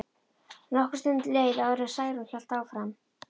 Nokkur stund leið áður en Særún hélt áfram.